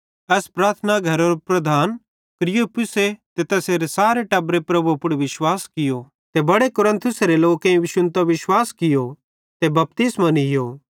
एस प्रार्थना घरेरो प्रधान क्रिस्पुसे ते तैसेरे सारे टब्बरे प्रभु पुड़ विश्वास कियो ते बड़े कुरिन्थिसेरे लोकेईं शुन्तां विश्वास कियो ते बपतिस्मो नीयो